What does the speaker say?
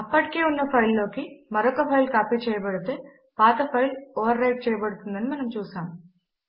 అప్పటికే ఉన్న ఒక ఫైల్ లోకి మరొక ఫైల్ కాపీ చేయబడితే పాత ఫైల్ ఓవర్ రైట్ చేయబడుతుంది అని మనము చూసాము